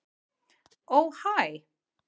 Ó hæ.